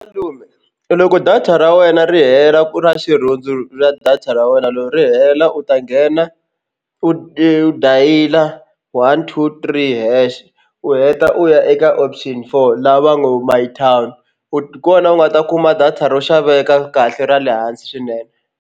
Malume loko data ra wena ri hela ra xirhundzu ra data ra wena loko ri hela u ta nghena u dayile one two three hash u heta u ya eka option four la va ngo my town u ku hi kona u nga ta kuma data ro xaveka kahle ra le hansi swinene.